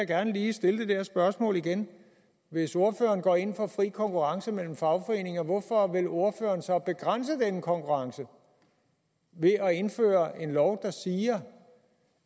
gerne lige stille spørgsmålet igen hvis ordføreren går ind for fri konkurrence mellem fagforeninger hvorfor vil ordføreren så begrænse den konkurrence ved at indføre en lov der siger